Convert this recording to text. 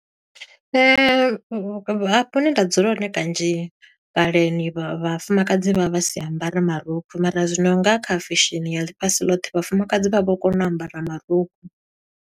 Hafho hune nda dzula hone kanzhi, kaleni vha vhafumakadzi vha vha si ambare marukhu, mara zwino nga kha fesheni ya ḽifhasi ḽoṱhe, vhafumakadzi vha vho kona u ambara marukhu.